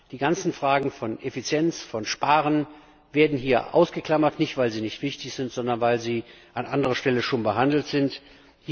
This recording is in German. Sämtliche Fragen von Effizienz, von Sparen werden hier ausgeklammert, nicht weil sie nicht wichtig sind, sondern weil sie an anderer Stelle behandelt werden.